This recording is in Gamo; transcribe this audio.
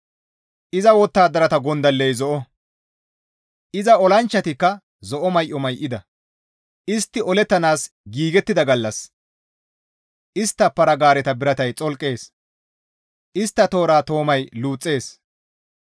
Iza wottadarata gondalley zo7o; iza olanchchatikka zo7o may7o may7ida; istti olettanaas giigettida gallas istta para-gaareta biratay xolqees; istta toora toomay luuxxees.